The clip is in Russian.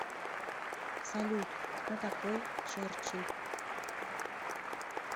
салют кто такой черчилль